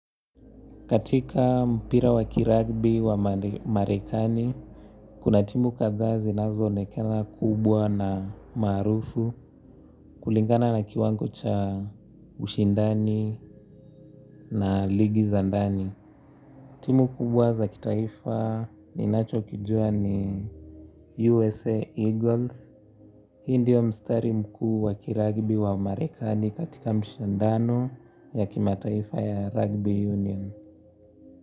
Katika mpira wa kiragbi wa marekani, kuna timu kadhaa zinazoonekena kubwa na maarufu kulingana na kiwango cha ushindani na ligi za ndani. Timu kubwa za kitaifa ninachokijua ni USA Eagles, hii ndio mstari mkuu wa kiragbi wa marekani katika mshindano ya kimataifa ya rugby union.